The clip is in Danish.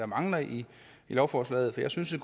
mangler i lovforslaget jeg synes jo